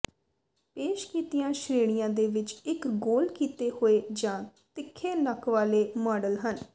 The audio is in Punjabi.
ਪੇਸ਼ ਕੀਤੀਆਂ ਸ਼੍ਰੇਣੀਆਂ ਦੇ ਵਿਚ ਇਕ ਗੋਲ ਕੀਤੇ ਹੋਏ ਜਾਂ ਤਿੱਖੇ ਨੱਕ ਵਾਲੇ ਮਾਡਲ ਹਨ